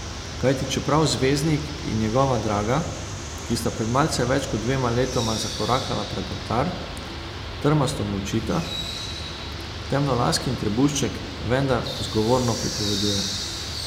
Kajti čeprav zvezdnik in njegova draga, ki sta pred malce več kot dvema letoma zakorakala pred oltar, trmasto molčita, temnolaskin trebušček vendar zgovorno pripoveduje.